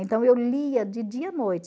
Então, eu lia de dia à noite.